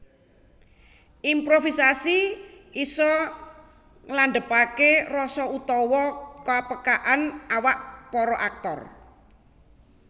Improvisasi isa nglandhepaké rasa utawa ka peka an awak para aktor